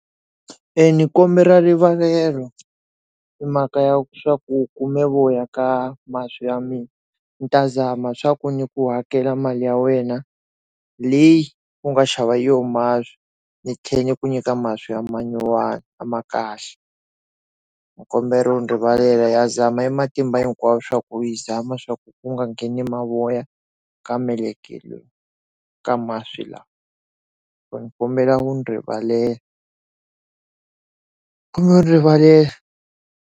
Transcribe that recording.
Ndzi kombela rivalelo i mhaka ya swa ku kume voya ka masi ya mina ndzi ta zama swa ku ni ku hakela mali ya wena leyi u nga xava hi yoho masi ndzi tlhela ndzi ku nyika masi ya manyuwana a ma kahle ndzi kombela u ndzi rivalela ya zama e matimba hinkwawo swa ku yi zama swa ku nga ngheni mavoya ka meleke lowu ka masi lawa ndzi kombela u ndzi rivalela ndzi kombela rivalela.